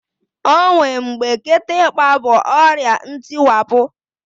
O nwe mgbe kịtịkpa bụ ọrịa ntịwapụ